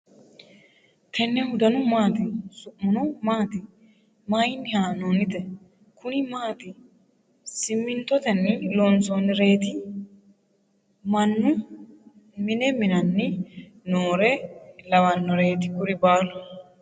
tennehu danu maati? su'muno maati? maayinni haa'noonnite ?kuni maati ? simintotenni loonsoonnireeti ? mannu mine mi'nanni nooreno lawanoreeti kuri baalu